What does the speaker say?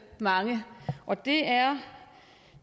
mange og det er